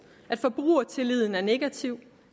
at forbrugertilliden er negativ